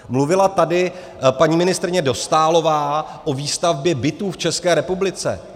Mluvila tady paní ministryně Dostálová o výstavbě bytů v České republice.